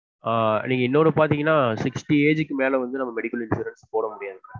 ஆஹ் நீங்க இன்னொன்னு பாத்தீங்கனா sixty age க்கு மேல வந்து நாம்ம medical insurance போட முடியாது